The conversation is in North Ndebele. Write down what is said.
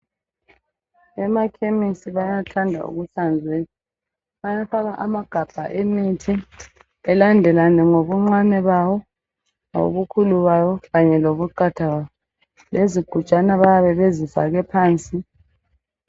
Emakhemisi bayathanda ukuhlanzeka bayafaka amagabha emithi elandelane ngobuncane bawo ngokukhulu bawo kanye lokukhanya kwawo lezigujana bayabe bezifake phansi